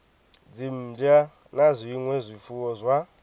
dzimmbwa na zwinwe zwifuwo zwa